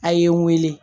A ye n wele